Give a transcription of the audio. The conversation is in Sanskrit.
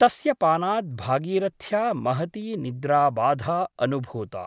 तस्य पानात् भागीरथ्या महती निद्राबाधा अनुभूता ।